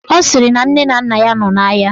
Ọ sịrị na nne na nna ya nọ n'ahịa